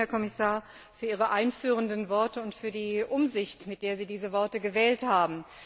Danke, Herr Kommissar, für Ihre einführenden Worte und für die Umsicht, mit der Sie diese Worte gewählt haben.